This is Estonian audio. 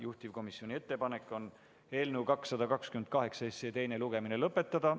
Juhtivkomisjoni ettepanek on eelnõu 228 teine lugemine lõpetada.